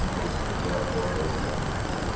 ну то есть вот я работал там